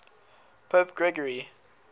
pope gregory